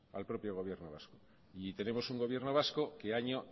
al propio gobierno vasco y tenemos un gobierno vasco que año